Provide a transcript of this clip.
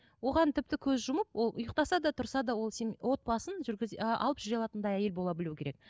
оған тіпті көз жұмып ол ұйықтаса да тұрса ол сенің отбасың жүргізе ы алып жүре алатындай әйел бола білу керек